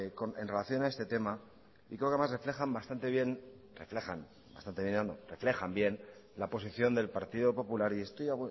en relación a este tema y porque además reflejan bastante bien la posición del partido popular y